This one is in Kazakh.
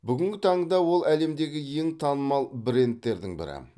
бүгінгі таңда ол әлемдегі ең танымал брендтердің бірі